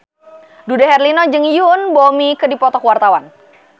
Dude Herlino jeung Yoon Bomi keur dipoto ku wartawan